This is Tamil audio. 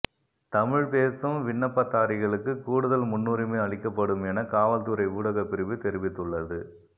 தமிழ் பேசும் விண்ணப்பதாரிகளுக்கு கூடுதல் முன்னுரிமை அளிக்கப்படும் என காவல்துறை ஊடகப் பிரிவு தெரிவித்துள்ளது